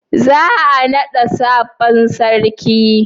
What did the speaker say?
za a nada sabon sarki?